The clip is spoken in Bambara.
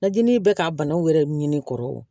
Lajini bɛ ka banaw yɛrɛ ɲini kɔrɔ